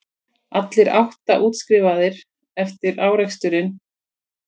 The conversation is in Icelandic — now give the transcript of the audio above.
Allir átta útskrifaðir eftir áreksturinn